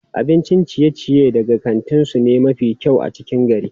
Abincin ciye-ciye daga kantin su ne mafi kyau a cikin gari.